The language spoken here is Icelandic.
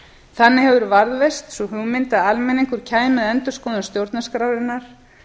þannig hefur varðveist sú hugmynd að almenningur kæmi að endurskoðun stjórnarskrárinnar